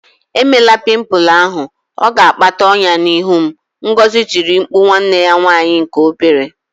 Emela pimple ahụ! Ọ ga-akpata ọnyá n'ihu m, Ngozi tiri mkpu nwanne ya nwanyị nke obere